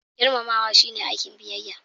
Girmamawa shine aikin biyayya.